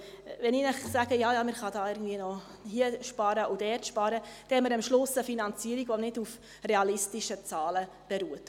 Wenn ich Ihnen sage, «Ja, ja, man kann hier und dort noch sparen», dann haben wir am Ende eine Finanzierung, die nicht auf realistischen Zahlen beruht.